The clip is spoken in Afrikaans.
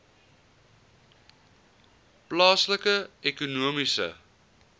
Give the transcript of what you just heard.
plaaslike ekonomiese